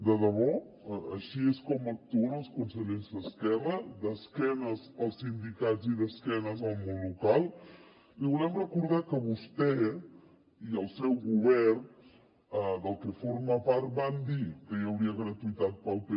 de debò així és com actuen els consellers d’esquerra d’esquena als sindicats i d’esquena al món local li volem recordar que vostè i el seu govern del que forma part van dir que hi hauria gratuïtat per al p2